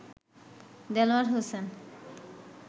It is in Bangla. দেলোয়ার হোসেন